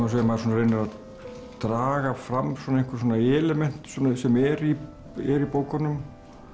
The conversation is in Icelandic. þessu maður reynir að draga fram element sem eru í í bókunum